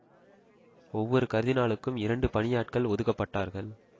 ஒவ்வொரு கர்தினாலுக்கும் இரண்டு பணியாட்கள் ஒதுக்கப்பட்டார்கள்